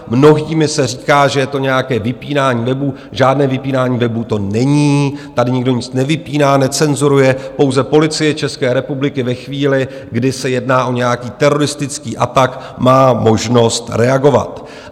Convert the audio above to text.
Mnohými se říká, že je to nějaké vypínání webů - žádné vypínání webů to není, tady nikdo nic nevypíná, necenzuruje, pouze Policie České republiky ve chvíli, kdy se jedná o nějaký teroristický atak, má možnost reagovat.